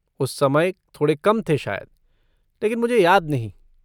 उस समय थोड़े कम थे शायद, लेकिन मुझे याद नहीं।